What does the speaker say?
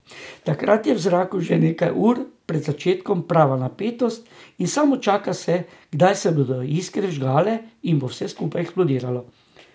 Takrat je v zraku že nekaj ur pred začetkom prava napetost, in samo čaka se, kdaj se bodo iskre vžgale in bo vse skupaj eksplodiralo.